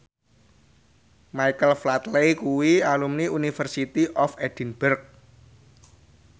Michael Flatley kuwi alumni University of Edinburgh